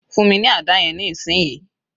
Fún mi ní àdá yẹn ní ìsìn yìí